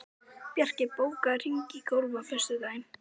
Bjarki, bókaðu hring í golf á föstudaginn.